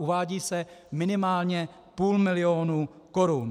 Uvádí se minimálně půl milionu korun.